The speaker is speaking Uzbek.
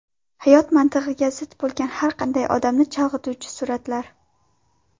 Hayot mantig‘iga zid bo‘lgan har qanday odamni chalg‘ituvchi suratlar .